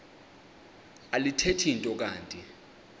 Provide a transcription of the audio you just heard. alithethi nto kanti